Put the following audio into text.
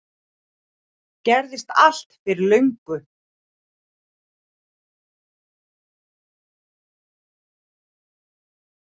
Gerðist allt fyrir löngu